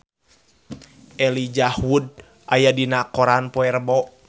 Elijah Wood aya dina koran poe Rebo